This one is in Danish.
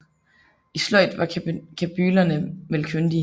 I sløjd var kabylerne vel kyndige